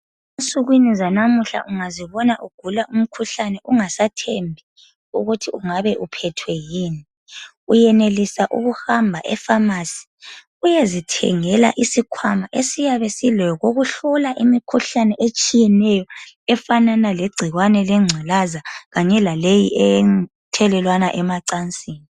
Ensukwini zanamuhla ungazibona ugula umkhuhlane ungasathembi ukuthi ingabe uphethwe yini uyenelisa ukuhamba efamasi uyezithengela isikhwama esiyabe silokokuhlola imikhuhlane etshiyeneyo efanana legcikwane lengculaza Kanye laleyi ethelelwana emacansini.